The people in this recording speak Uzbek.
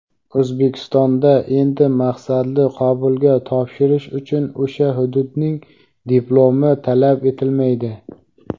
O‘zbekistonda endi maqsadli qabulga topshirish uchun o‘sha hududning diplomi talab etilmaydi.